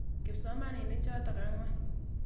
Kipsomaninik chotok ang'wan.